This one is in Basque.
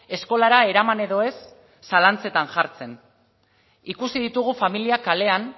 eskolara eraman edo ez zalantzetan jartzen ikusi ditugu familiak kalean